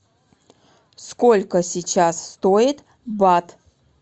сколько сейчас стоит бат